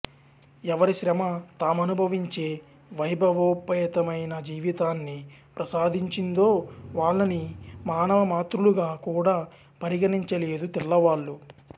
ఎవరి శ్రమ తామనుభవించే వైభవోపేతమైన జీవితాన్ని ప్రసాదించిందో వాళ్లని మానవ మాతృలుగా కూడా పరిగణించలేదు తెల్లవాళ్లు